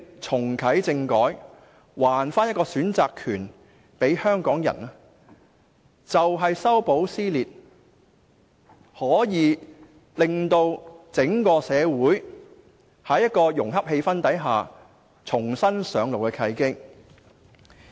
重啟政改，把選擇權還給香港人，便是修補撕裂，令整個社會在融洽的氣氛下重新上路的契機。